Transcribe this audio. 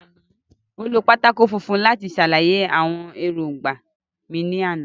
Mo lo pátákó funfun láti ṣàlàyé àwọn èròńgbà mi ní àná